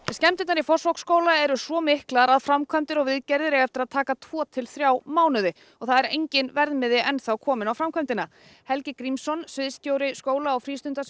skemmdirnar í Fossvogsskóla eru svo miklar að framkvæmdir og viðgerðir eiga eftir að taka tvo til þrjá mánuði og það er enginn verðmiði enn kominn á framkvæmdina Helgi Grímsson sviðsstjóri skóla og